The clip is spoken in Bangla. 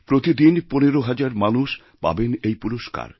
প্রতিদিন ১৫ হাজার মানুষ পাবেন এই পুরস্কার